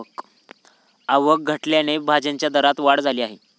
आवक घटल्याने भाज्यांच्या दरात वाढ झाली आहे.